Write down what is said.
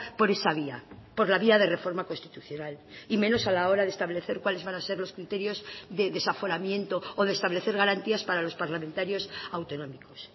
por esa vía por la vía de reforma constitucional y menos a la hora de establecer cuáles van a ser los criterios de desaforamiento o de establecer garantías para los parlamentarios autonómicos